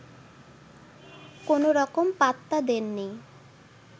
কোনোরকম পাত্তা দেননি